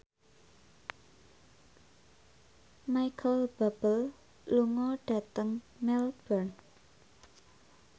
Micheal Bubble lunga dhateng Melbourne